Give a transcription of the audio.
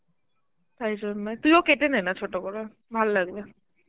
তাই জন্য তুইও কেটে নে না, ছোট করে, ভাললাগবে.